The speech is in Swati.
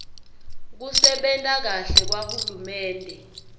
kusebenta kahle kwahulumende